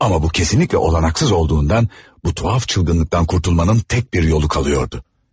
Amma bu kesinlikle olanaksız olduğundan bu tuhaf çılgınlıqdan qurtulmanın tək bir yolu qalıyordu.